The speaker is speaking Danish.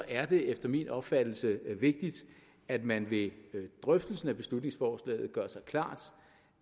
er det efter min opfattelse vigtigt at man ved drøftelsen af beslutningsforslaget gør sig klart